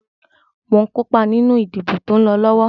Mo ǹ kópa nínú ìdìbò tó ń lọ lọ́wọ́.